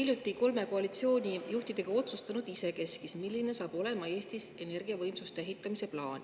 Te, kolm koalitsioonijuhti, olete hiljuti isekeskis otsustanud, milline saab olema Eestis energiavõimsuste ehitamise plaan.